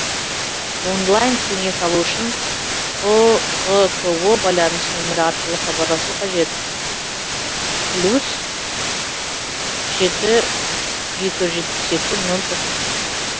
онлайн кеңес алу үшін ұғко байланыс нөмірі арқылы хабарласу қажет плюс жеті екі жүз жетпіс екі нөл тоқсан